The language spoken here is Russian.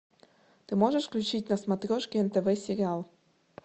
ты можешь включить на смотрешке нтв сериал